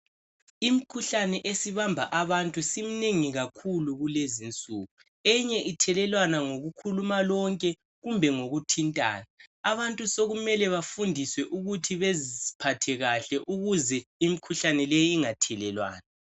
Imikhuhlane esibamba abantu isiminengi kakhulu kulezinsuku. Eyinye ithelelwana ngokukhuluma lonke kumbe ngokuthintana. Abantu sokumele bafundiswe ukuthi baziphathe kuhle ukuze imikhuhlane leyi ingathelelwana.